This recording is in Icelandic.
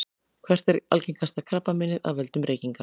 hvert er algengasta krabbameinið af völdum reykinga